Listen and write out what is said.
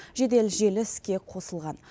жедел желі іске қосылған